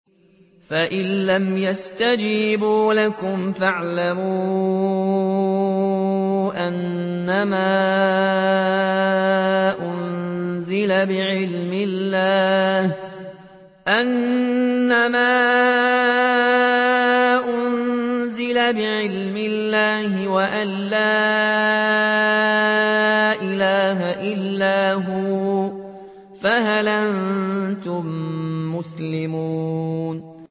فَإِلَّمْ يَسْتَجِيبُوا لَكُمْ فَاعْلَمُوا أَنَّمَا أُنزِلَ بِعِلْمِ اللَّهِ وَأَن لَّا إِلَٰهَ إِلَّا هُوَ ۖ فَهَلْ أَنتُم مُّسْلِمُونَ